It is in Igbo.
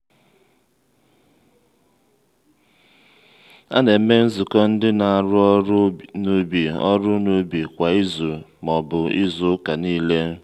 a na-eme nzukọ ndị na-arụ ọrụ n’ubi ọrụ n’ubi kwa izu ma ọbu izu ụka niile